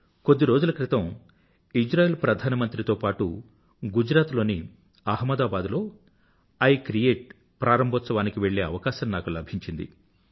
కొద్దిరోజులక్రితం Israel ప్రధానమంత్రి తో పాటూ గుజరాత్ లోని అహ్మదాబాద్ లో ఇ క్రియేట్ ప్రారంభోత్సవానికి వెళ్ళే అవకాశం నాకు లభించింది